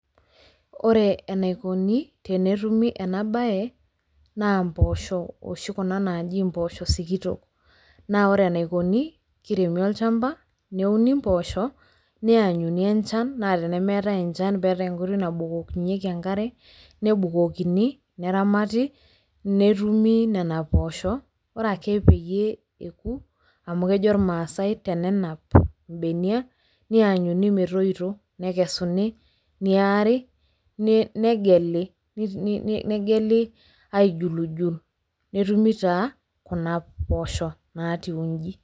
Ore enaikoni tenetumi ena bae naa imboosho oshi kuna naaji imboosho sikitok. Naa ore enaikoni kiremi olchamba, neuni imboosho, neanyuni enjan naa temetai enjan peatai enkoitoi nabukokinyiki enkare nebukokini, neramati netumi nena poosho ore peyie epuko, amu kejo ilmaasai tenenap ilbenia, neenyuni metoyito, nekesuni, neari, negeli aijuljul netumi taa kuna poosho naatiu inji.